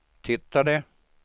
tittade